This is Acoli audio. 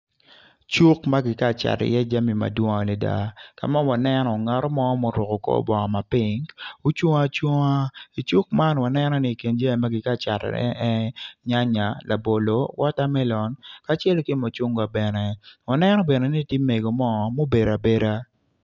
Cuk ma kitye ka cato iye jami madwong adada ka ma waneno ngat mo ma oruko kor bongo ma pink ocung acunga i cuk man waneno i kin jami ma kitye ka catone tye nyanyan, labolo ki wotamelom kacel ki mucungwa bene waneno ni tye mego mo ma obedo abeda.